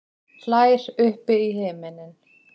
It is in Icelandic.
Hlær upp í himininn.